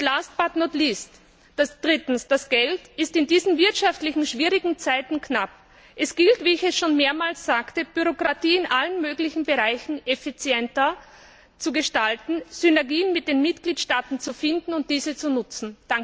Last but not least drittens Das Geld ist in diesen wirtschaftlich schwierigen Zeiten knapp. Es gilt wie ich es schon mehrmals sagte Bürokratie in allen möglichen Bereichen effizienter zu gestalten, Synergien mit den Mitgliedstaaten zu finden und diese zu nutzen.